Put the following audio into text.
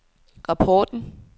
rapporten